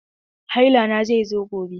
Haila na zai zo gobe.